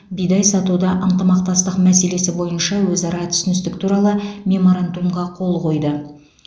бидай сатуда ынтымақтастық мәселесі бойынша өзара түсіністік туралы меморандумға қол қойды